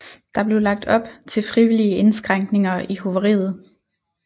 Der blev lagt op til frivillige indskrænkninger i hoveriet